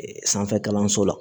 Sanfɛ kalanso la